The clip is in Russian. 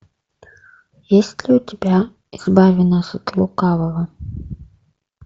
есть ли у тебя избави нас от лукавого